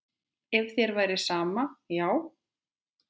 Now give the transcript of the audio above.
Ef þér væri sama, já.